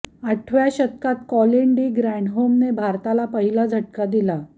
आठव्या षटकात Colin de ग्रॅण्डहोमने भारताला पहिला झटका दिला